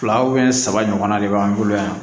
Fila saba ɲɔgɔnna de b'an bolo yan